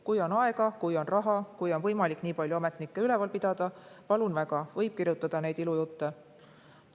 Kui on aega, kui on raha, kui on võimalik nii palju ametnikke üleval pidada – palun väga, võib kirjutada neid ilujutte.